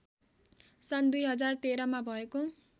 सन् २०१३ मा भएको